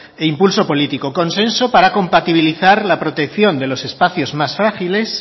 e impulso político consenso para compatibilizar la protección de los espacios más frágiles